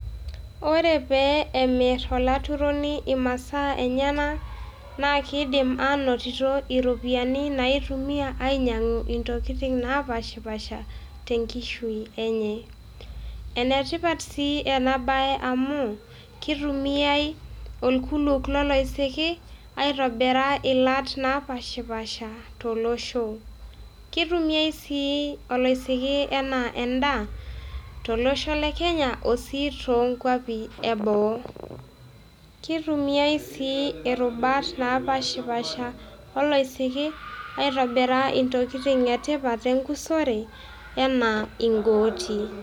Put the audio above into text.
Ore pee emir olaturoni imasaa enyena, naa kiidim ainotito iropiyani naaitumia ainyang' intokitin naapaashipaasha tenkishui enye. Enetipat sii ena baye amuu, kitumiai olkuluok loloisiki aitobira iilat naapaashipaasha tolosho. Keitumiai sii oloisiki enaa endaa tolosho le Kenya o sii toonkuapi eboo. Kitumiai sii irubat napaashipaasha oloisiki aitobiro sii intokitin etipat enkusore enaa in`gooti